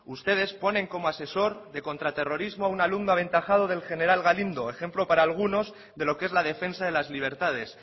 ustedes ponen como asesor de contraterrorismo a un alumno aventajado del general galindo ejemplo para algunos de lo que es la defensa de las libertades